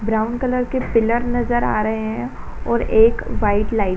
Brown colour के pillar नज़र आ रहे हैं और एक व्हाइट लाइट ।